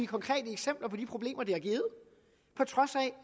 konkrete eksempler på de problemer det